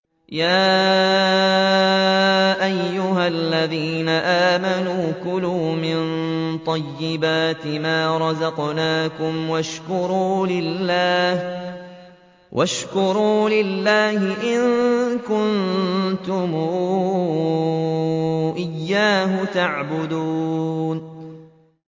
يَا أَيُّهَا الَّذِينَ آمَنُوا كُلُوا مِن طَيِّبَاتِ مَا رَزَقْنَاكُمْ وَاشْكُرُوا لِلَّهِ إِن كُنتُمْ إِيَّاهُ تَعْبُدُونَ